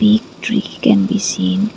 a tree can be seen.